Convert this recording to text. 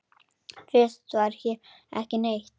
Fyrst var hér ekki neitt.